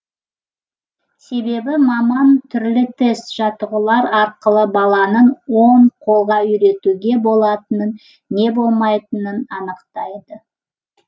себебі маман түрлі тест жаттығулар арқылы баланың оң қолға үйретуге болатынын не болмайтынын анықтайды